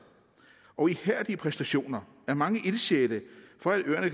og ihærdige præstationer af mange ildsjæle for at øerne